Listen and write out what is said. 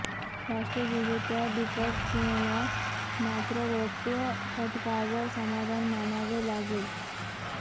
राष्ट्रीय विजेत्या दीपक सिंहला मात्र रौप्य पदकावर समाधान मानावे लागले